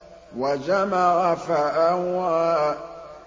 وَجَمَعَ فَأَوْعَىٰ